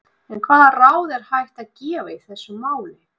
En hvaða ráð er hægt að gefa í þessu máli?